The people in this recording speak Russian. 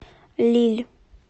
лилль